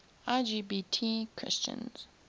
lgbt christians